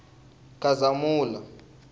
khazamula